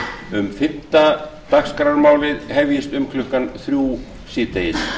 um fimmta dagskrármálið hefjist um klukkan þrjú síðdegis